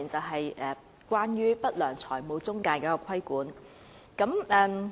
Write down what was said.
第一，是不良財務中介的規管。